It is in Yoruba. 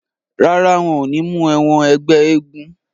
Rárá, wọn ò ní mú ẹ wọn ẹgbẹ́ eégún.